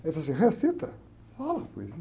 Aí ele falou assim, recita, fala a poesia.